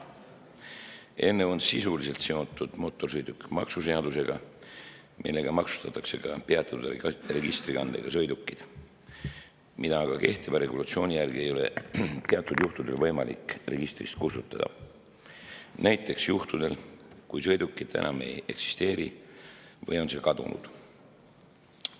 Eelnõu on sisuliselt seotud mootorsõidukimaksu seadusega, millega maksustatakse ka peatatud registrikandega sõidukid, mida aga kehtiva regulatsiooni järgi ei ole teatud juhtudel võimalik registrist kustutada, näiteks juhtudel, kui sõidukit enam ei eksisteeri või on see kadunud.